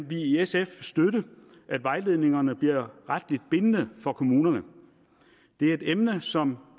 vi i sf støtte at vejledningerne bliver retligt bindende for kommunerne det er et emne som